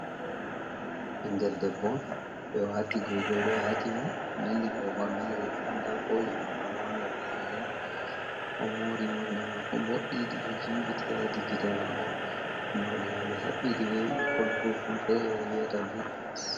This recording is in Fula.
Ɓingel debbo ɓe ɗo wati goigoi ɗo ati mo, nandi ba o ɓornai riga nda kole mako ɗo wanga be lalle, o mori morɗi mako boɗɗi ɗiɗo jimbiti ha hedi gite mako, morɗi mai ɓe haɓɓiɗi be bikkon kukkon fere be wvyata bits.